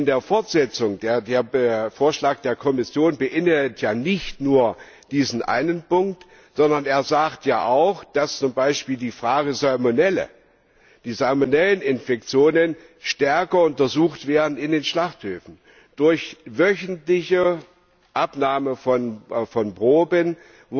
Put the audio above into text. Der Vorschlag der Kommission beinhaltet ja nicht nur diesen einen Punkt, sondern er sagt ja auch, dass zum Beispiel die Salmonelleninfektionen stärker untersucht werden in den Schlachthöfen durch wöchentliche Abnahme von Proben, bei denen